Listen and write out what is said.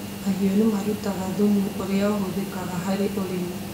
Mahiũ nĩmarutaga thumu ũria ũhũthĩkaga harĩ ũrĩmi.